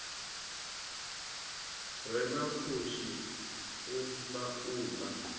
re na pfushi u laula